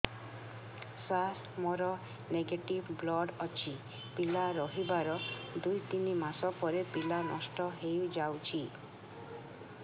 ସାର ମୋର negative blood ଅଛି ପିଲା ରହିବାର ଦୁଇ ତିନି ମାସ ପରେ ପିଲା ନଷ୍ଟ ହେଇ ଯାଉଛି